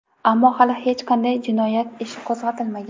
Ammo hali hech qanday jinoyat ishi qo‘zg‘atilmagan.